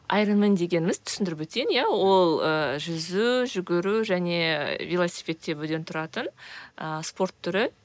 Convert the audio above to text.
аэронмен дегеніміз түсіндіріп өтейін иә ол ы жүзу жүгіру және велосипед тебуден тұратын ы спорт түрі